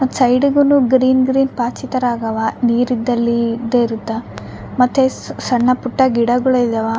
ಸೈಡ್ಗುನು green green ಪಾಚಿ ತರ ಆಗವ ನೀರ್ ಇದ್ದಲ್ಲಿ ಇದ್ದ್ ಇರುತ್ತ ಮತ್ತೆ ಸ್ ಸಣ್ಣ ಪುಟ್ಟ ಗಿಡಗುಳ್ ಇದವ.